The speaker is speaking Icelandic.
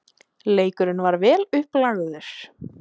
Leikurinn var vel upplagður.